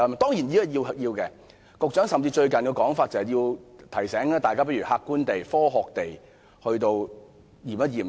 當然，這是有需要的，局長最近提醒大家，倒不如客觀地、科學地檢視事件。